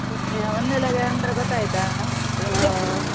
ಚಟ್ನಿಯಾ ಒಂದೆಲಗ ಅಂದ್ರೆ ಗೊತ್ತಾಯ್ತಾ?